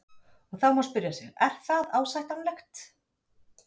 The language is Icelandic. Og þá má spyrja sig, er það ásættanlegt?